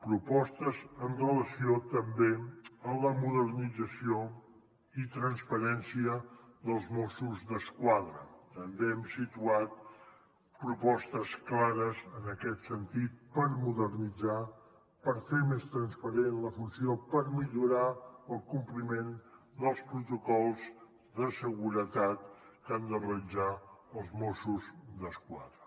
propostes amb relació també a la modernització i transparència dels mossos d’esquadra també hem situat propostes clares en aquest sentit per modernitzar per fer més transparent la funció per millorar el compliment dels protocols de seguretat que han de realitzar els mossos d’esquadra